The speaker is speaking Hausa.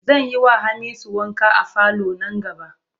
Zan yiwa Hamisu wanka a falo nan gaba.